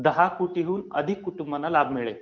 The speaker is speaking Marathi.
दहा कोटीहून अधिक कुटुंबांना लाभ मिळेल.